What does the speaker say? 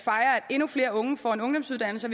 endnu flere unge får en ungdomsuddannelse